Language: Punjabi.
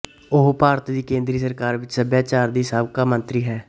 ਉਹ ਭਾਰਤ ਦੀ ਕੇਂਦਰੀ ਸਰਕਾਰ ਵਿਚ ਸਭਿਆਚਾਰ ਦੀ ਸਾਬਕਾ ਮੰਤਰੀ ਹੈ